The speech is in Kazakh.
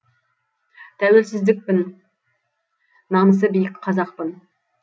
тәуелсіздікпін намысы биік қазақпын